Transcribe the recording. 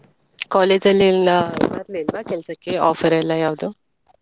College ಅಲ್ಲಿ ಎಲ್ಲ ಬರ್ಲಿಲ್ವಾ ಕೆಲ್ಸಕ್ಕೆ offer ಎಲ್ಲ ಯಾವ್ದು.